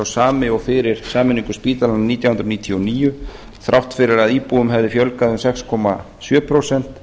sami og fyrir sameiningu spítalanna nítján hundruð níutíu og níu þrátt fyrir að íbúum hefði fjölgað um sex komma sjö prósent